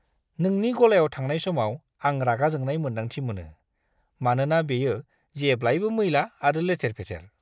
नोंनि गलायाव थांनाय समाव आं रागा जोंनाय मोन्दांथि मोनो, मानोना बेयो जेब्लाबो मैला आरो लेथेर-फेथेर!